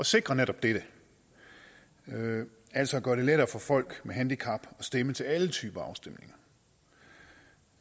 sikre netop dette altså at gøre det lettere for folk med handicap at stemme til alle typer